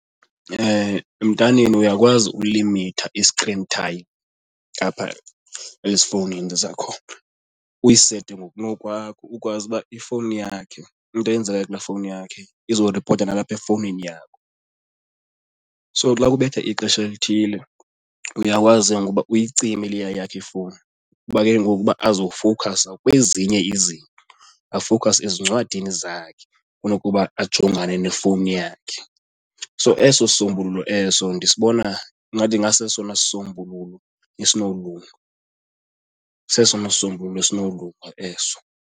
Emntaneni uyakwazi ulimitha i-screen time apha ezifowunini zakhona, uyisete ngokunokwakho ukwazi uba ifowuni yakhe into eyenzekayo kulaa fowuni yakhe izoripota nalapha efowunini yakho. So xa kubetha ixesha elithile uyakwazi ke ngoku uba uyicime leya yakhe ifowuni kuba ke ngoku uba azofoeukhasa kwezinye izinto, afowukhase ezincwadini zakhe kunokuba ajongane nefowuni yakhe. So eso sisombululo eso ndisibona ingathi ingasesona sisombululo esinokulunga, sesona sisombululo esinokulunga eso.